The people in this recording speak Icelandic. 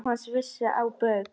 Jóhanna vísar þessu á bug.